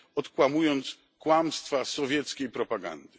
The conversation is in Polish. odkłamując kłamstwa sowieckiej propagandy.